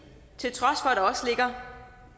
til at der